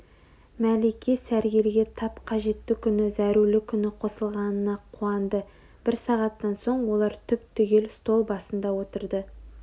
мәлике сәргелге тап қажетті күні зәрулі күні қосылғанына қуанды бір сағаттан соң олар түп-түгел стол басында отырды